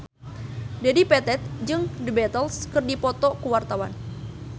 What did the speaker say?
Dedi Petet jeung The Beatles keur dipoto ku wartawan